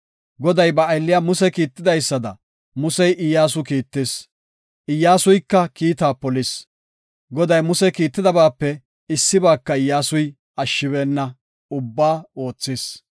Goday ba aylliya Muse kiitidaysada, Musey Iyyasu kiittis; Iyyasuyka kiitaa polis. Goday Muse kiitidabaape issibaaka Iyyasuy ashshibeenna; ubbaa oothis.